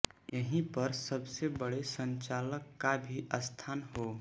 यही पर सबसे बड़े संचालक का भी स्थान हो